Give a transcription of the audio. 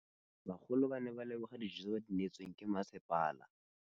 Bagolo ba ne ba leboga dijô tse ba do neêtswe ke masepala.